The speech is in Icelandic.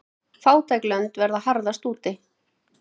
Fátæk lönd verða harðast úti.